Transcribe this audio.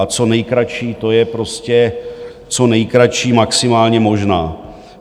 A co nejkratší, to je prostě co nejkratší maximálně možná.